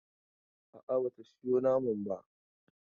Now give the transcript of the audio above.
A'a, ba ta sayo naman ba.